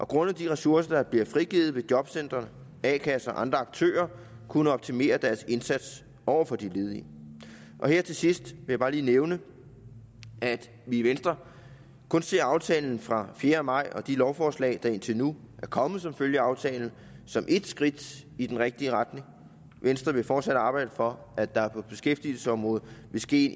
grundet de ressourcer der bliver frigivet vil jobcentre a kasser og andre aktører kunne optimere deres indsats over for de ledige her til sidst vil jeg bare lige nævne at vi i venstre kun ser aftalen fra fjerde maj og de lovforslag der indtil nu er kommet som følge af aftalen som et skridt i den rigtige retning venstre vil fortsat arbejde for at der på beskæftigelsesområdet vil ske